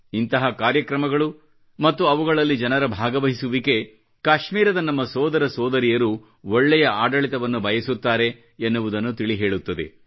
ಇಂತಹ ಕಾರ್ಯಕ್ರಮಗಳು ಮತ್ತು ಅವುಗಳಲ್ಲಿ ಜನರ ಭಾಗವಹಿಸುವಿಕೆ ಕಾಶ್ಮೀರದ ನಮ್ಮ ಸೋದರ ಸೋದರಿಯರು ಒಳ್ಳೆಯ ಆಡಳಿತವನ್ನು ಬಯಸುತ್ತಾರೆ ಎನ್ನುವುದನ್ನು ತಿಳಿ ಹೇಳುತ್ತದೆ